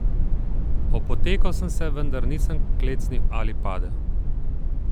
Opotekel sem se, vendar nisem klecnil ali padel.